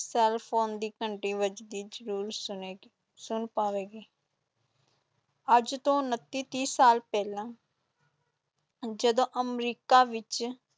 cellphone ਦੀ ਘੰਟੀ ਵੱਜਦੀ ਜ਼ਰੂਰ ਸੁਣੇਗੀ, ਸੁਣ ਪਵੇਗੀ ਅੱਜ ਤੋਂ ਉਣੱਤੀ ਤੀਹ ਸਾਲ ਪਹਿਲਾਂ ਜਦੋਂ ਅਮਰੀਕਾ ਵਿਚ